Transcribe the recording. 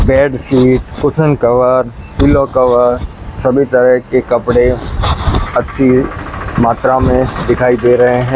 Bed sheet cushion cover pillow cover सभी तरह के कपड़े अच्छी मात्रा में दिखाई दे रहे हैं।